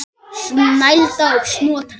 Snælda er Snotra